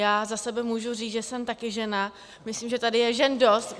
Já za sebe můžu říct, že jsem taky žena, myslím, že tady je žen dost.